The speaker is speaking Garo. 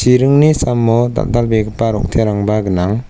iringni samo dal·dalbegipa rong·terangba gnang.